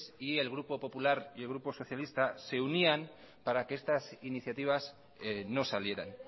y el grupo popular y el grupo socialista se unían para que estas iniciativas no salieran